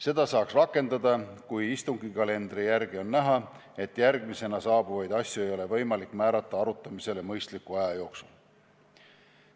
Seda saaks rakendada, kui istungikalendri järgi on näha, et järgmisena saabuvaid asju ei ole võimalik määrata arutamisele mõistliku aja jooksul.